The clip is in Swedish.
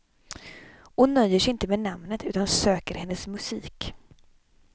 Och nöjer sig inte med namnet utan söker hennes musik.